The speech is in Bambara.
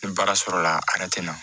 Ni baara sɔrɔla a yɛrɛ tɛ na